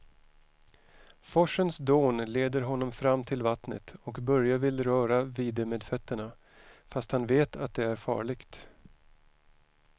Forsens dån leder honom fram till vattnet och Börje vill röra vid det med fötterna, fast han vet att det är farligt.